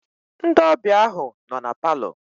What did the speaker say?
Ndị ọbịa ahụ nọ na palọ.